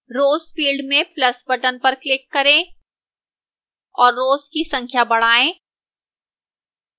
rows field में plus button पर click करें और rows की संख्या बढ़ाएं